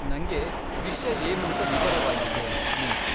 ನಂಗೆ ವಿಷ್ಯ ಏನೂಂತ ವಿವರವಾಗಿ ಹೇಳಿ ಪ್ಲೀಸ್.